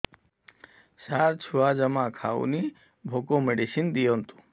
ସାର ଛୁଆ ଜମା ଖାଉନି ଭୋକ ମେଡିସିନ ଦିଅନ୍ତୁ